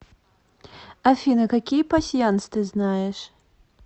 афина какие пасьянс ты знаешь